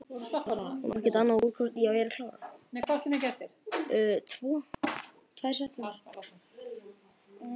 Hún á ekki annars úrkosti en að fara í þungunarpróf.